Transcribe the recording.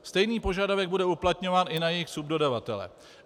Stejný požadavek bude uplatňován i na jejich subdodavatele.